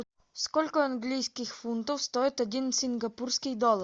сколько английских фунтов стоит один сингапурский доллар